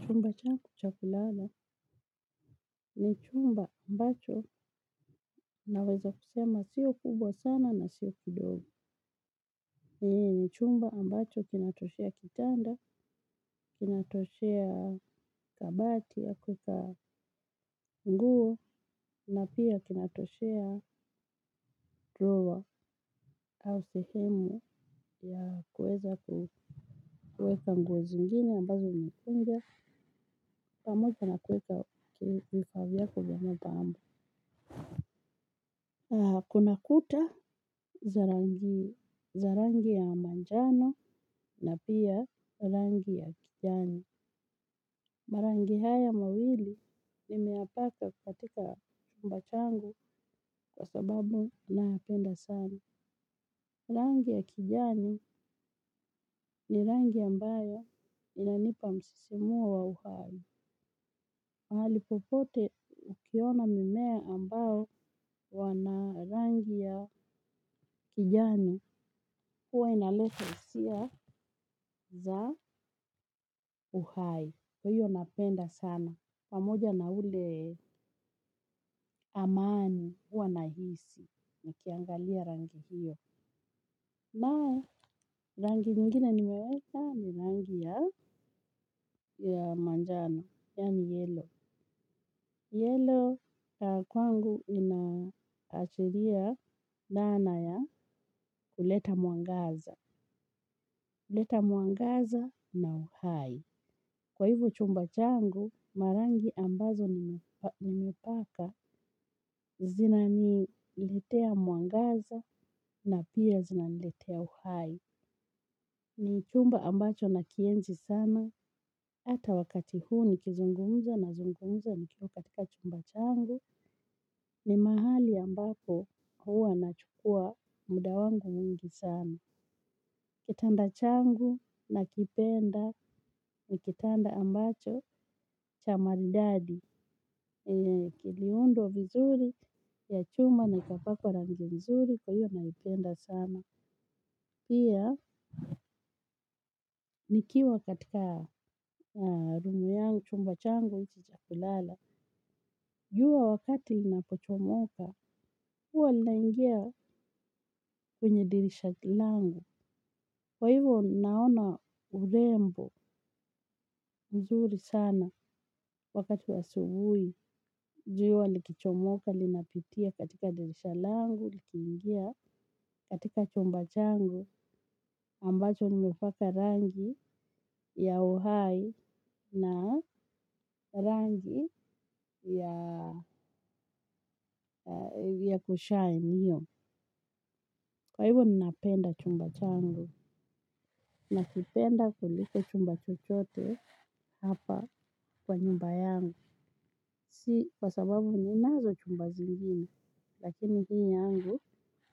Chumba changu cha kulala ni chumba ambacho naweza kusema si kubwa sana na si kidogo. Ni chumba ambacho kinatoshea kitanda, kinatoshea kabati ya kuweka nguo na pia kinatoshea droo au sehemu ya kuweka nguo zingine ambazo nimekunja pamoja na kuweka vifaa vyangu vya mapambo kuna kuta za rangi ya manjano na pia rangi ya kijani. Marangi haya mawili nimeyapaka katika chumba changu kwa sababu nayapenda sani. Rangi ya kijani ni rangi ambayo inanipa msisimuo wa uhai. Mahali popote ukiona mimea ambayo ina rangi ya kijani, huwa inaleta hisia za uhai. Kwa hiyo napenda sana. Pamoja na ile amani huwa nahisi nikiangalia rangi hiyo. Na rangi nyingine niweweka ni rangi ya manjano. Yaani yellow. Yellow kwangu inaashiria nguvu ya kuleta mwangaza. Kuleta mwangaza na uhai. Kwa hivyo chumba changu, rangi ambazo nimepaka zinaniletea mwangaza na pia zinaniletea uhai. Ni chumba ambacho nakienzi sana, hata wakati huu ninapozungumza nipo katika chumba changu, ni mahali ambapo huwa nachukua muda wangu mwingi sana. Kitanda changu nakipenda ni kitanda ambacho cha maridadi, kiliundwa vizuri, na chuma kikapakwa rangi vizuri, kwa hivyo nakipenda sana. Pia, nikiwa katika rumu yangu, chumba changu cha kulala. Jua wakati linapochomoka, huwa linaingia kwenye dirisha langu. Kwa hivo, naona urembo mzuri sana wakati wa asubuhi. Jua likichomoka, linapitia katika dirisha langu, likiingia katika chumba changu. Ambacho nimepaka rangi ya uhai na rangi ya kushine hiyo. Kwa hivyo ninapenda chumba changu. Nakipenda kuliko chumba chochote hapa kwa nyumba yangu. Si kwa sababu ninazo chumba zingine. Lakini hii yangu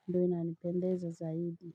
ndiyo inanipendeza zaidi.